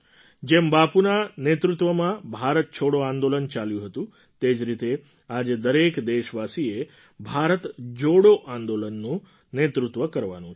જેમ બાપુના નેતૃત્વમાં ભારત છોડો આંદોલન ચાલ્યું હતું તે જ રીતે આજે દરેક દેશવાસીએ ભારત જોડો આંદોલનનું નેતૃત્વ કરવાનું છે